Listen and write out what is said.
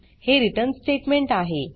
हे return statement आहे